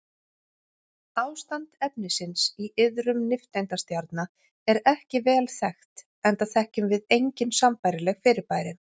Ástand efnisins í iðrum nifteindastjarna er ekki vel þekkt enda þekkjum við engin sambærileg fyrirbæri.